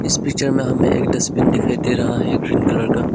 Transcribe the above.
इस पिक्चर में हमें एक डस्टबिन दिखाई दे रहा है ग्रीन कलर का।